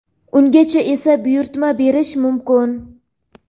Ungacha esa buyurtma berish mumkin.